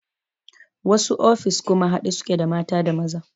Wasu ofis kuma haɗe suke da mata da maza